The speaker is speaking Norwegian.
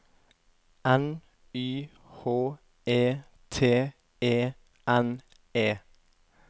N Y H E T E N E